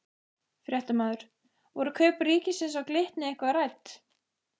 Fréttamaður: Voru kaup ríkisins á Glitni eitthvað rædd?